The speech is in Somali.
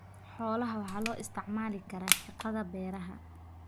Xoolaha waxaa loo isticmaali karaa shaqada beeraha.